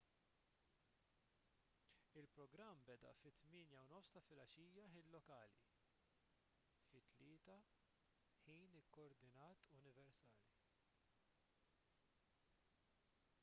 il-programm beda fit-8:30 ta' filgħaxija ħin lokali 15:00 utc